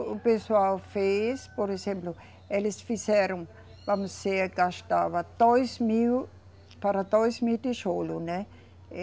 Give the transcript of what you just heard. O pessoal fez, por exemplo, eles fizeram, vamos dizer, gastava dois mil para dois mil tijolo, né?